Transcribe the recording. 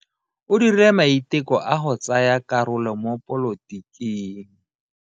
O dirile maiteko a go tsaya karolo mo dipolotiking.